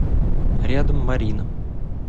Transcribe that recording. рядом марина